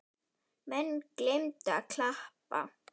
Menn gleymdu að klappa.